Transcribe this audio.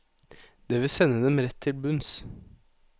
Det vil sende dem rett til bunns.